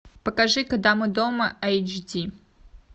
покажи когда мы дома айч ди